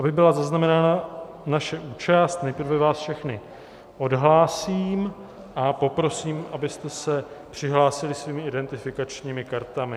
Aby byla zaznamenána naše účast, nejprve vás všechny odhlásím a prosím, abyste se přihlásili svými identifikačními kartami.